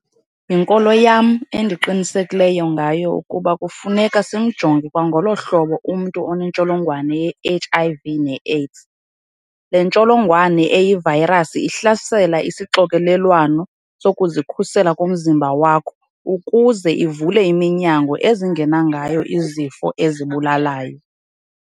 Yinkolo yam endiqinisekileyo ngayo ukuba kufuneka simjonge kwangolo hlobo umntu onentsholongwane yeHIV neAIDS. Le ntsholongwane eyivayirasi ihlasela isixokelelwano sokuzikhusela komzimba wakho ukuze ivule iminyango ezingena ngayo izifo ezikubulalayo.